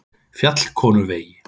Fjallkonuvegi